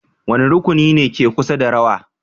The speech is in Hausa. Wane rukuni ne ke kusa da rawa?